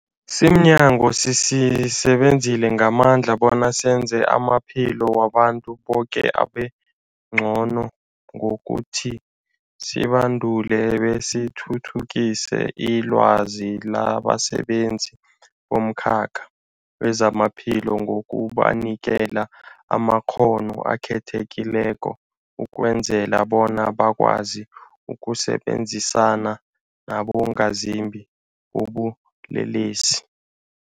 Simnyango, sisebenza ngamandla bona senze amaphilo wabantu boke abengcono ngokuthi sibandule besithuthukise ilwazi labasebenzi bomkhakha wezamaphilo ngokubanikela amakghono akhethekileko ukwenzela bona bakwazi ukusebenzisana nabongazimbi bobulelesi.